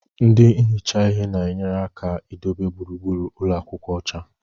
ndị na-ehicha ihe na-enyere aka idobe gburugburu ụlọ akwụkwọ ọcha.